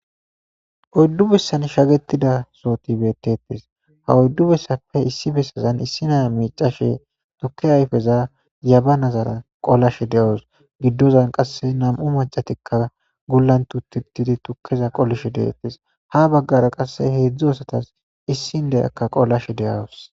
Oddu bessan shagetida sooti bettettes ha oddu bessappe issi bessazan issi naya miicashe tukke ayfeza yaba nazara qolashe de7oos giddozan qasse nam7u macatikka gullan tutettidi tukkeza qolishe deettes ha baggara qasse heedzdzu asatas issin deyakka qollashe deyawos.